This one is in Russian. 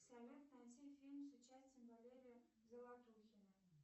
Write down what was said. салют найти фильм с участием валерия золотухина